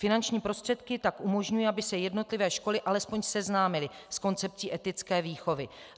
Finanční prostředky tak umožňují, aby se jednotlivé školy alespoň seznámily s koncepcí etické výchovy.